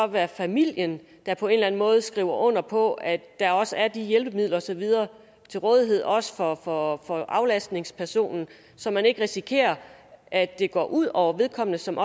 være familien der på en måde skriver under på at der også er de hjælpemidler og så videre til rådighed også for for aflastningspersonen så man ikke risikerer at det går ud over vedkommende som